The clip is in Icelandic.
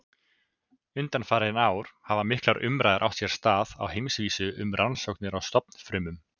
Undanfarin ár hafa miklar umræður átt sér stað á heimsvísu um rannsóknir á stofnfrumum.